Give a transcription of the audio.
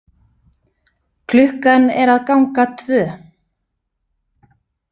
Klukkan er að ganga tvö.